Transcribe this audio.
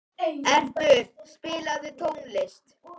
Erpur, spilaðu tónlist.